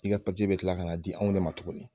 I ka be kila ka na di anw de ma tuguni.